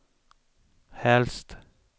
helst